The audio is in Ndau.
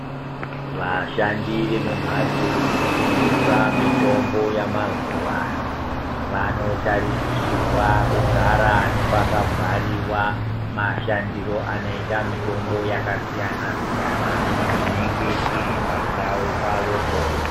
Vashandi vemumhatso dzinotengesa mitombo yamazuvano vanotarisirwa kugara nepakabhariwa mashandiro anoita mitombo yakasiyana siyana inenge iripandavo pavopo .